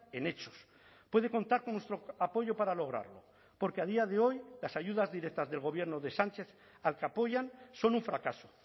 en hechos puede contar con nuestro apoyo para lograrlo porque a día de hoy las ayudas directas del gobierno de sánchez al que apoyan son un fracaso